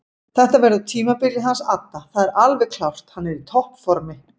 Þetta verður tímabilið hans adda það er alveg klárt hann er í toppformi.